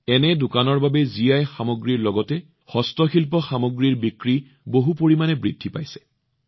এনে দোকানৰ বাবে জিআই সামগ্ৰীৰ লগতে হস্তশিল্প সামগ্ৰীৰ বিক্ৰী যথেষ্ট বৃদ্ধি পাইছে